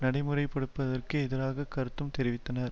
நடைமுறை படுத்துவதற்கு எதிராக கருத்தும் தெரிவித்தனர்